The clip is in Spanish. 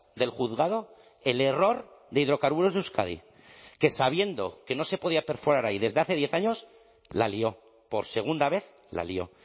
del juzgado el error de hidrocarburos de euskadi que sabiendo que no se podía perforar ahí desde hace diez años la lio por segunda vez la lío